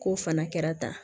K'o fana kɛra tan